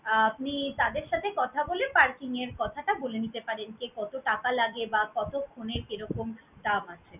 আপনি তাদের সাথে কথা বলে parking এর কথাটা বলে নিতে পারেন যে কতো টাকা লাগে বা কতক্ষণে কি রকম দাম হয়।